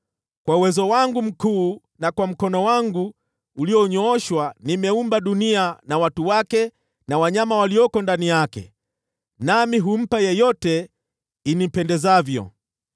Kwa uwezo wangu mkuu na kwa mkono wangu ulionyooshwa nimeumba dunia na watu wake na wanyama walioko ndani yake, nami humpa yeyote inipendezavyo.